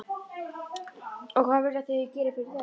Og hvað vilja þau að ég geri fyrir þau?